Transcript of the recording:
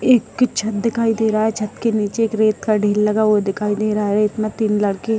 एक छत दिखाई दे रहा है छत के नीचे एक रेत का ढेर लगा हुआ दिखाई दे रहा है रेत में तीन लड़के --